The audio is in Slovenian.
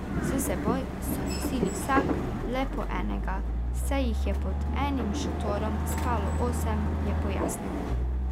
S seboj so nosili vsak le po enega, saj jih je pod enim šotorom spalo osem, je pojasnil.